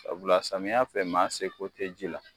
Sabula samiya fɛ maa seko te ji la.